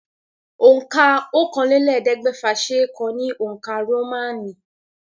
Òǹkà ọ̀kànlélẹ́ẹ̀ẹ́dẹ́gbẹ́fà ṣe é kọ ní òǹkà Rómánì.